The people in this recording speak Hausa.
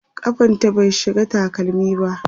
kafanta bai shiga takalmi ba